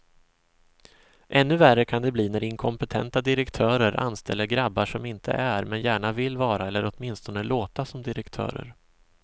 Ännu värre kan det bli när inkompetenta direktörer anställer grabbar som inte är, men gärna vill vara eller åtminstone låta som direktörer.